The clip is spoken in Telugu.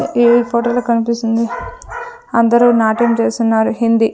ఈ ఫొటో లో కనిపిస్తుంది అందరు నాట్యం చేస్తున్నారు హిందీ--